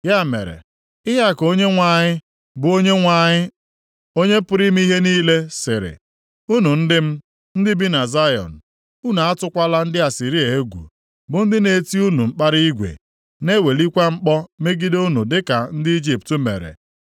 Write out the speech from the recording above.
Ya mere, ihe a ka Onyenwe anyị, bụ Onyenwe anyị, Onye pụrụ ime ihe niile, sịrị, “Unu ndị m, ndị bi na Zayọn, unu atụkwala ndị Asịrịa egwu bụ ndị na-eti unu mkpara igwe, na-ewelikwa mkpọ megide unu dịka ndị Ijipt mere.